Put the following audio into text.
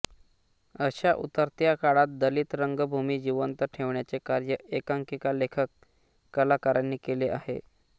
अशा उतरत्या काळात दलित रंगभूमी जिवंत ठेवण्याचे कार्य एकांकिका लेखक कलाकारांनी केले आहे